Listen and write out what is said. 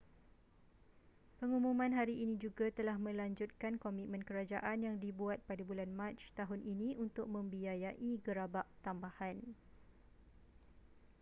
pengumuman hari ini juga telah melanjutkan komitmen kerajaan yang dibuat pada bulan mac tahun ini untuk membiayai gerabak tambahan